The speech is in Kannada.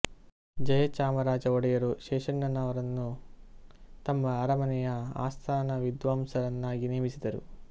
ಜಯಚಾಮರಾಜ ವೊಡೆಯರು ಶೇಷಣ್ಣನವರನ್ನು ತಮ್ಮ ಅರಮನೆಯ ಆಸ್ಥಾನವಿದ್ವಾಂಸರ ನ್ನಾಗಿ ನೇಮಿಸಿದರು